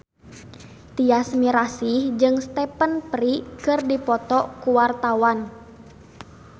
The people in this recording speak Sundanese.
Tyas Mirasih jeung Stephen Fry keur dipoto ku wartawan